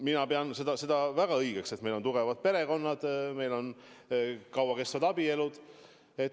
Mina pean seda väga õigeks, sest meil on tugevad perekonnad, meil on kaua kestvad abielud.